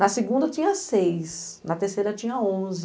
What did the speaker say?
Na segunda tinha seis, na terceira tinha onze.